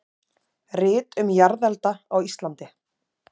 Rit um jarðelda á Íslandi.